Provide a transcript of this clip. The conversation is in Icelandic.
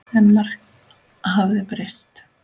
En margt hafði breyst.